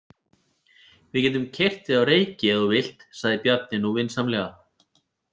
Við getum keyrt þig á Reyki ef þú vilt, sagði Bjarni nú vinsamlega.